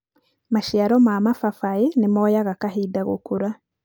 maciaro ma mababaĩ nĩ moyaga kahinda gũkũra.